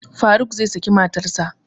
Faruk zai saki matarsa